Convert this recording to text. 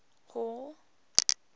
hall